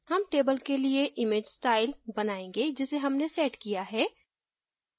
हम table के लिए image style बनायेंगे जिसे हमने set किया है